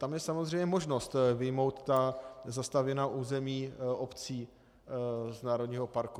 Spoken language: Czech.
Tam je samozřejmě možnost vyjmout ta zastavěná území obcí z národního parku.